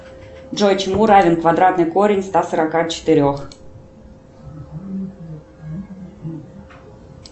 джой чему равен квадратный корень ста сорока четырех